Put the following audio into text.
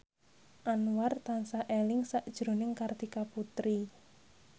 Anwar tansah eling sakjroning Kartika Putri